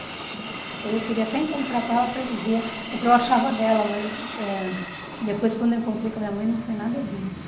Então, eu queria até encontrar com ela para dizer o que eu achava dela, mas eh depois, quando eu encontrei com minha mãe, não foi nada disso.